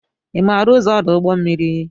Ị maara ụzọ ọdụ ụgbọ mmiri